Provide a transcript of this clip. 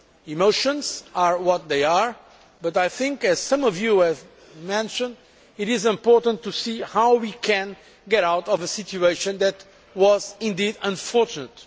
Emotions are what they are but I think, as some of you have mentioned, that it is important to see how we can get out of a situation that was indeed unfortunate.